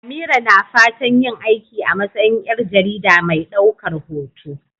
Amira na fatan yin aiki a matsayin ƴar jarida mai ɗaukar hoto.